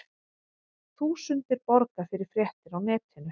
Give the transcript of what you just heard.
Þúsundir borga fyrir fréttir á netinu